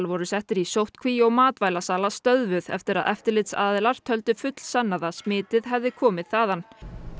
voru settir í sóttkví og stöðvuð eftir að eftirlitsaðilar töldu fullsannað að smitið hefði komið þaðan